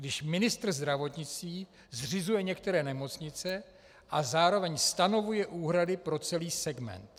Když ministr zdravotnictví zřizuje některé nemocnice a zároveň stanovuje úhrady pro celý segment.